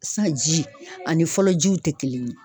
Sisan ji ani fɔlɔ jiw tɛ kelen ye